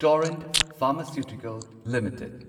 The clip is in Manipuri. Torrent pharmaceutical limited